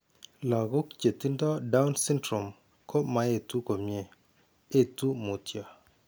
Lakook che tindo Down syndrome ko maetu komnye, etu mutyoo.